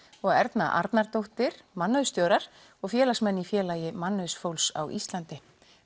og Erna Arnardóttir mannauðsstjórar og félagsmenn í Félagi á Íslandi